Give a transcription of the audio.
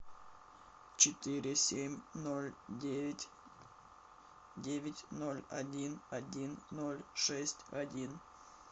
четыре семь ноль девять девять ноль один один ноль шесть один